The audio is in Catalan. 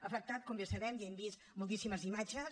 ha afectat com ja sabem i n’hem vist moltíssimes imatges